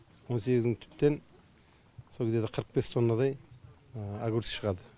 он сегіз мың түптен сол где то қырық бес тоннадай огурцы шығады